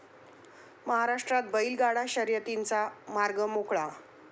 महाराष्ट्रात बैलगाडा शर्यतींचा मार्ग मोकळा